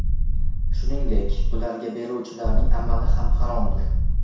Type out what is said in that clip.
Shuningdek, ularga beruvchilarning amali ham haromdir.